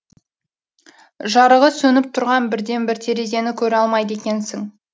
жарығы сөніп тұрған бірден бір терезені көре алмайды екенсің